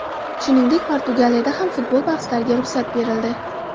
Shuningdek, Portugaliyada ham futbol bahslariga ruxsat berildi .